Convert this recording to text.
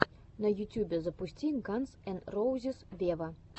на ютюбе запусти ганз эн роузиз вево